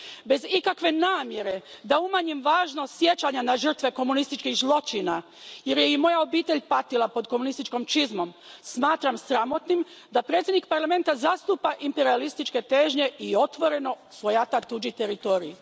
Bez ikakve namjere da umanjim važnost sjećanja na žrtve komunističkih zločina jer je i moja obitelj patila pod komunističkom čizmom, smatram sramotnim da predsjednik Parlamenta zastupa imperijalističke težnje i otvoreno svojata tuđi teritorij.